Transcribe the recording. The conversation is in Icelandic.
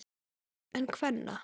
En kvenna?